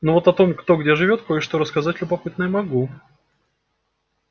но вот о том кто где живёт кое-что рассказать любопытное могу